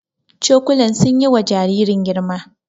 Cokulan sun yi wa jaririn girma